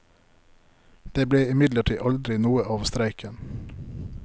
Det ble imidlertid aldri noe av streiken.